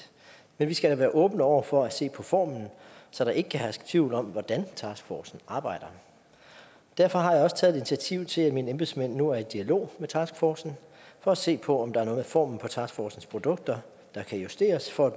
men vi skal da være åbne over for at se på formen så der ikke kan herske tvivl om hvordan taskforcen arbejder derfor har jeg også taget initiativ til at mine embedsmænd nu er i dialog med taskforcen for at se på om der er noget ved formen på taskforcens produkter der kan justeres for